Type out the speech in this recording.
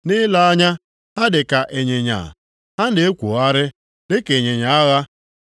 Nʼile anya, ha dịka ịnyịnya, ha na-ekwogharị dịka ịnyịnya agha.